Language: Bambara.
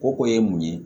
O ko ye mun ye